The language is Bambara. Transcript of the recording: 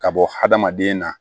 Ka bɔ hadamaden na